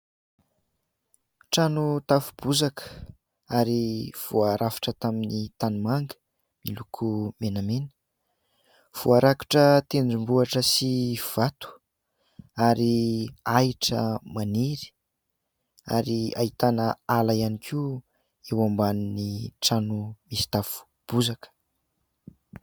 Trano tafo bozaka ary voarafitra tamin'ny tanimanga miloko menamena ; voarakitra tendrombohitra sy vato ary ahitra maniry ary ahitana ala ihany koa eo ambany trano misy tafo bozaka.